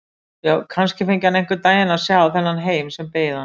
Já, kannski fengi hann einhvern daginn að sjá þennan heim sem beið hans.